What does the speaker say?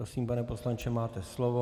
Prosím, pane poslanče, máte slovo.